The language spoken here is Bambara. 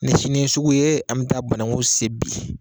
Ni sini ye sugu ye an bɛ taa bananku sen bi